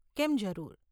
કેમ, જરૂર.